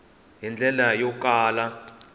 hi ndlela yo kala yi